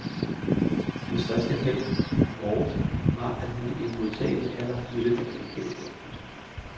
Hans største held, og vores, var, at han i en modtagelig alder mødte den europæiske oplysning.